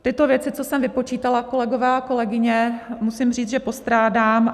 Tyto věci, co jsem vypočítala, kolegové a kolegyně, musím říct, že postrádám.